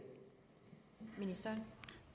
nsa